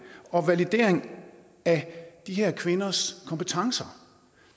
og validering af de her kvinders kompetencer